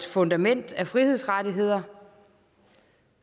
fundament af frihedsrettigheder